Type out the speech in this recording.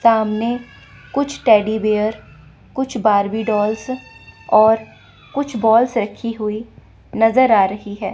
सामने कुछ teddy bear कुछ बार्बी डॉल्स और कुछ बॉल्स रखी हुई नजर आ रही हैं।